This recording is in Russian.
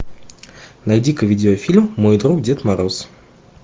найди ка видеофильм мой друг дед мороз